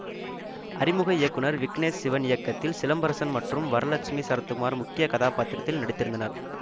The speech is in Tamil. அறிமுக இயக்குனர் விக்னேஷ் சிவன் இயக்கத்தில் சிலம்பரசன் மற்றும் வரலக்ஷ்மி சரத்குமார் முக்கிய கதாபாத்திரத்தில் நடித்திருந்தனர்